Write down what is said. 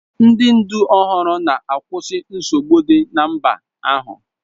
Ndị ndu ọhụrụ a na-akwụsị nsogbu dị na mba ahụ.